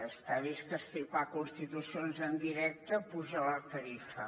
està vist que estripar constitucions en directe apuja la tarifa